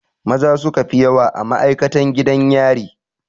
Maza suka fi yawa a ma'aikatan gidan yari.